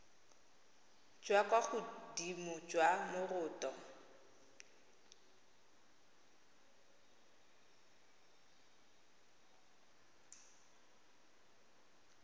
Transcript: jwa kwa godimo jwa moroto